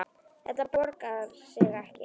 Þetta borgar sig ekki.